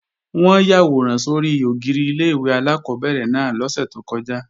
Wọ́n yàwòrán sórí ògiri ilé-ìwé alákọ́bẹ̀rẹ̀ náà lọ́sẹ̀ tó kọjá